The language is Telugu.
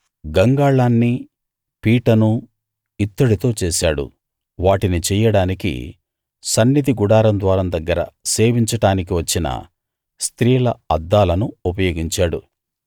గంగాళాన్నీ పీటనూ ఇత్తడితో చేశాడు వాటిని చెయ్యడానికి సన్నిధి గుడారం ద్వారం దగ్గర సేవించడానికి వచ్చిన స్త్రీల అద్దాలను ఉపయోగించాడు